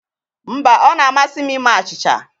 Mba, ọ na-amasị m ime achịcha